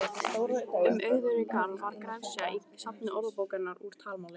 Um auðugri garð var gresja í safni Orðabókarinnar úr talmáli.